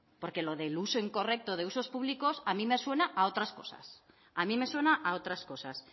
porque lo del uso incorrecto de usos públicos a mí me suena a otras cosas